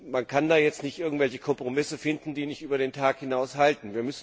Man kann jetzt nicht irgendwelche Kompromisse finden, die nicht über den Tag hinaus halten.